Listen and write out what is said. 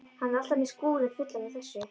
Hann er alltaf með skúrinn fullan af þessu.